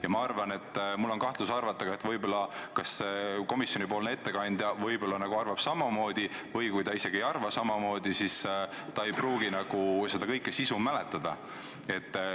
Ja ma arvan – mul on kahtlus –, et komisjoni ettekandja võib arvata samamoodi, ja kui ta isegi ei arva samamoodi, siis ei pruugi ta kogu istungi sisu mäletada.